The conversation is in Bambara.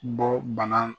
Bɔ bana